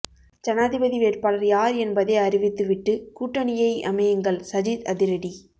ஜனாதிபதி வேட்பாளர் யார் என்பதை அறிவித்து விட்டு கூட்டணியை அமையுங்கள் சஜித் அதிரடி